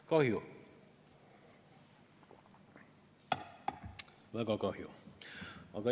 Kahju, väga kahju.